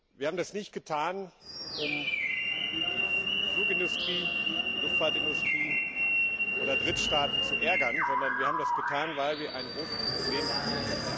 Wir haben das nicht getan, um die Luftfahrtindustrie oder Drittstaaten zu ärgern, sondern wir haben das getan, weil wir ein großes Problem haben.